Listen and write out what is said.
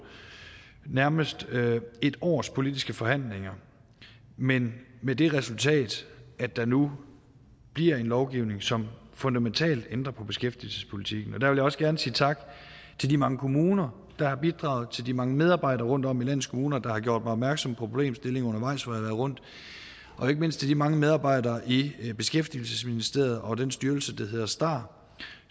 nærmest et års politiske forhandlinger men med det resultat at der nu bliver en lovgivning som fundamentalt ændrer på beskæftigelsespolitikken der vil jeg også gerne sige tak til de mange kommuner der har bidraget til de mange medarbejdere rundtom i landets kommuner der har gjort mig opmærksom på problemstillinger undervejs har været rundt og ikke mindst til de mange medarbejdere i i beskæftigelsesministeriet og den styrelse der hedder starter